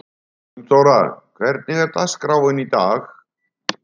Gunndóra, hvernig er dagskráin í dag?